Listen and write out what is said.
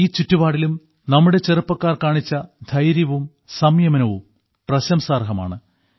ഈ ചുറ്റുപാടിലും നമ്മുടെ ചെറുപ്പക്കാർ കാണിച്ച ധൈര്യവും സംയമനവും പ്രശംസാർഹമാണ്